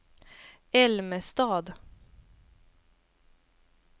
Älmestad